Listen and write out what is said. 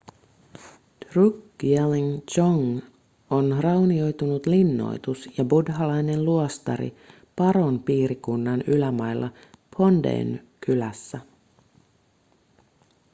drukgyalin dzong on raunioitunut linnoitus ja buddhalainen luostari paron piirikunnan ylämailla phondeyn kylässä